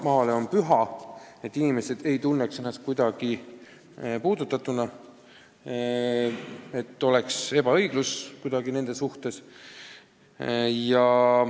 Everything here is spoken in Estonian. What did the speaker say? Maaomand on püha ja inimesed ei tohi tunda ennast kuidagi puudutatuna, et nende vastu on ülekohtused oldud.